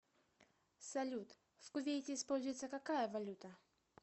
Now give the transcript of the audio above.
салют в кувейте используется какая валюта